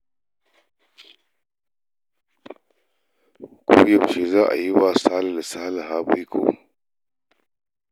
Ko yaushe za a yi wa Sale da Saliha baiko?